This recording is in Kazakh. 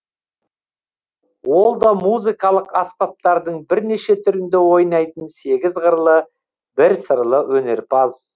ол да музыкалық аспаптардың бірнеше түрінде ойнайтын сегіз қырлы бір сырлы өнерпаз